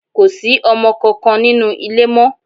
Kò sí ọmọ kankan nínú ilé mọ́.